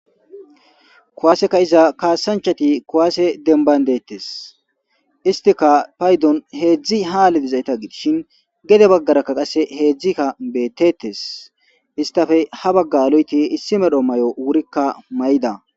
Kowaseka iza kaasanchati kowaase denbayndettes istika paydon heedzdzi haalidizayta giishin gede baggarakka qasse heedzdzikka bettetes istafe ha bagga loyti issi medho may7o wurikka may7da.